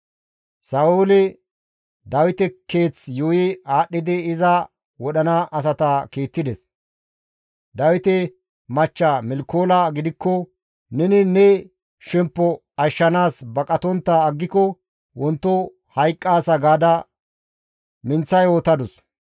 Sa7ooli Dawite keeth yuuyi aadhdhidi iza wodhana asata kiittides; Dawite machcha Milkoola gidikko, «Neni ne shemppo ashshanaas baqatontta aggiko wonto hayqqaasa» gaada minththa yootadus.